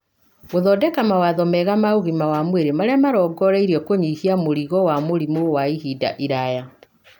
gũthondeka mawatho mega ma ũgima wa mwĩrĩ marĩa marongoreirio kũnyihia mũrigo wa mĩrimũ ya ihinda iraya.